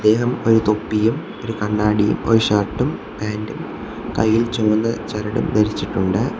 ഇദ്ദേഹം ഒരു തൊപ്പിയും ഒരു കണ്ണാടിയും ഒരു ഷർട്ടും പാന്റും കയ്യിൽ ചുവന്ന ചരടും ധരിച്ചിട്ടുണ്ട്.